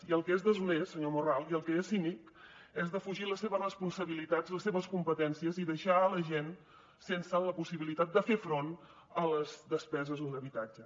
i el que és deshonest senyor morral i el que és cínic és defugir les seves responsabilitats les seves competències i deixar la gent sense la possibilitat de fer front a les despeses d’un habitatge